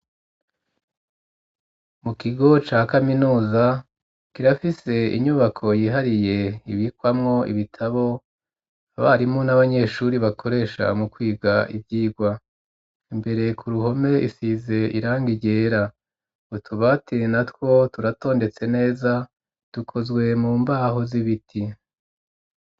Mu kigo ca kaminuza kirafise inyubako yihariye ibikwamwo ibitabo abarimu n'abanyeshuri bakoresha mu kwiga ivyirwa imbere ku ruhome isize irangi ryera utubati natwo turatondetse neza dukozwe mu mbaho z'ibiti.